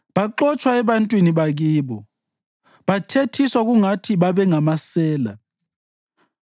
Baxotshwa ebantwini bakibo, bathethiswa kungathi babengamasela.